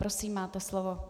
Prosím, máte slovo.